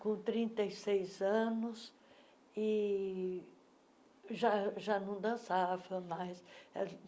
com trinta e seis anos e já já não dançava mais.